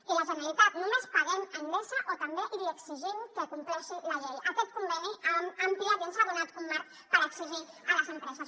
i la generalitat només paguem endesa o també li exigim que compleixi la llei aquest conveni ha ampliat i ens ha donat un marc per exigir a les empreses